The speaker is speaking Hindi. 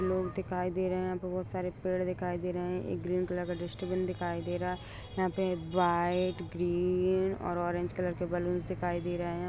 लोग दिखाई दे रहै है बोहत सारे पेड़ दिखाई दे रहै एक ग्रीन कलर का डस्टबिन दिखाई दे रहा है। यहाँ पे व्हाइट ग्रीन और ऑरेंज कलर के बलून्स दिखाई दे रहै है।